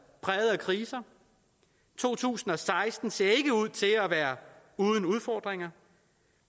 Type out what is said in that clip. præget af kriser to tusind og seksten ser ikke ud til at være uden udfordringer